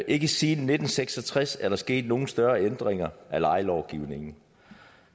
ikke siden nitten seks og tres er der sket nogle større ændringer af lejelovgivningen